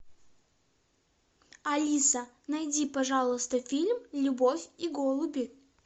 алиса найди пожалуйста фильм любовь и голуби